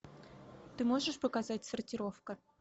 ты можешь показать сортировка